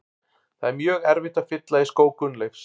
Það er mjög erfitt að fylla í skó Gunnleifs.